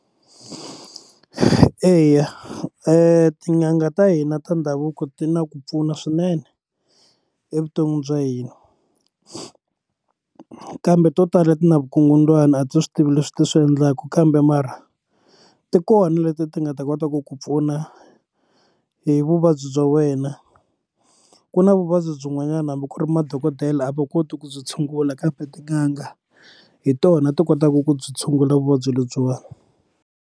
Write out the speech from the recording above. Eya tin'anga ta hina ta ndhavuko ti na ku pfuna swinene evuton'wini bya hina kambe to tala ti na vukungundzwana a ti swi tivi leswi ti swi endlaka kambe mara ti kona leti ti nga ta kota ku ku pfuna hi vuvabyi bya wena ku na vuvabyi byin'wanyana hambi ku ri madokodela a va koti ku byi tshungula kambe tin'anga hi tona ti kotaka ku byi tshungula vuvabyi lebyiwani.